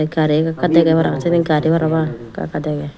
gari eka ekka degey para pang seyani gari para pang ekaka degey.